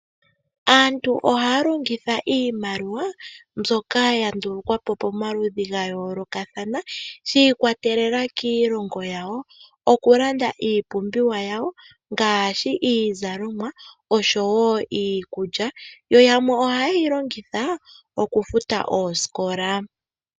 Aantu ohaya longitha iimaliwa mbyoka ya ndulukwa po pomaludhi ga yoolokathana shi ikwatelela kiilongo yawo, oku landa iipumbiwa yawo ngaashi iizalomwa oshowo iikulya. Yo yamwe ohaye yi longitha okufuta oosikola.